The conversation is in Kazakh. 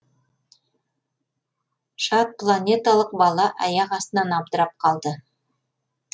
жатпланеталық бала аяқ астынан абдырап қалды